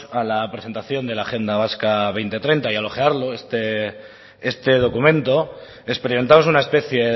a la presentación de la agenda vasca dos mil treinta y al ojearlo este documento experimentamos una especie